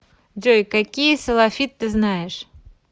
джой какие салафит ты знаешь